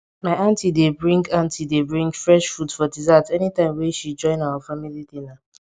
my aunti dey bring aunti dey bring fresh fruit for dessert anytime wey she join our family dinner